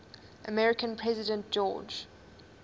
american president george